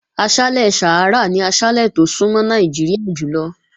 Aṣálẹ̀ Sàhárà ni aṣálẹ̀ tó súnmọ́ Nàìjíríà jùlọ.